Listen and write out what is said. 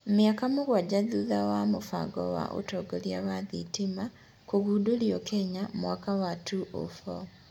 Mĩaka mũgwanja thutha wa mũbango wa ũtongoria wa thitima kũgundũrio Kenya mwaka wa 2004.